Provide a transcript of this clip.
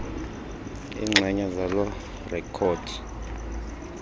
iinxenye zaloo rekhodi